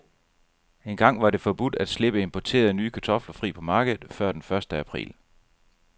Engang var det forbudt at slippe importerede, nye kartofler fri på markedet før den første april.